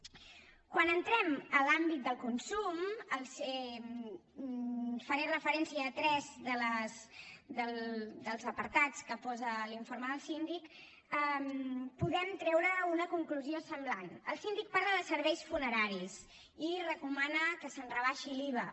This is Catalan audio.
quan entrem en l’àmbit del consum faré referència a tres dels apartats que posa l’informe del síndic podem treure una conclusió semblant el síndic parla de serveis funeraris i recomana que se’n rebaixi l’iva